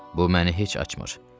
Bu məni heç açmır.